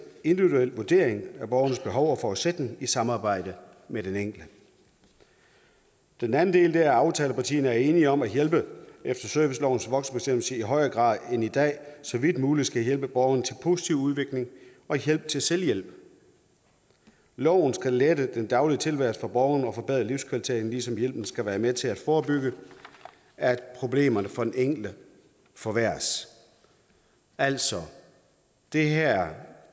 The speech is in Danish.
individuel vurdering af borgerens behov og forudsætning i samarbejde med den enkelte den anden del er at aftalepartierne er enige om at hjælp efter servicelovens voksenbestemmelse i højere grad end i dag så vidt muligt skal hjælpe borgeren til positiv udvikling og hjælp til selvhjælp loven skal lette den daglige tilværelse for borgeren og forbedre livskvaliteten ligesom hjælpen skal være med til at forebygge at problemerne for den enkelte forværres altså det her